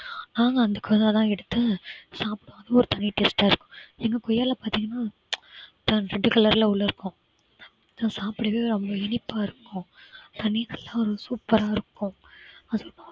நானும் அந்த கொய்யா தான் எடுத்தேன் சாப்பிட்டா அது ஒரு தனி taste ஆ இருக்கு எங்க கொய்யாவில பாத்தீங்கன்னா ல உள்ள red color ல உள்ள இருக்கும் சாப்பிடவே அவ்வளவு இனிப்பா இருக்கும் super ஆ இருக்கும்